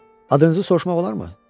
Adınızı soruşmaq olarmı?